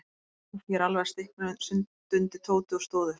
Úff, ég er alveg að stikna stundi Tóti og stóð upp.